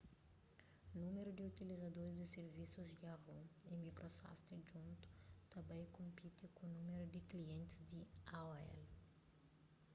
númeru di utilizadoris di sirvisus yahoo y microsoft djuntu ta bai konpiti ku númeru di klientis di aol